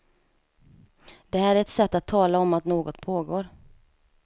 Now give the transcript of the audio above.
Det här är ett sätt att tala om att något pågår.